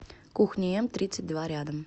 кухни м тридцать два рядом